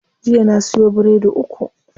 Jiya na siyo biredi uku.